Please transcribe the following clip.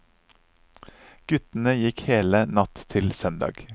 Guttene gikk hele natt til søndag.